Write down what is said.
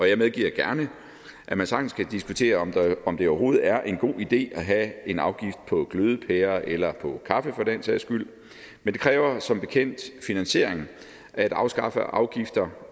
jeg medgiver gerne at man sagtens kan diskutere om det overhovedet er en god idé at have en afgift på glødepærer eller på kaffe for den sags skyld men det kræver som bekendt finansiering at afskaffe afgifter